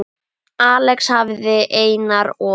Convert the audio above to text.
Axel hafði Einar og